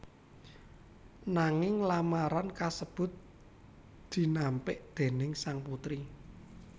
Nanging lamaran kasebut dinampik déning sang putri